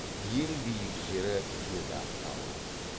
ең биік жері бедағ тауы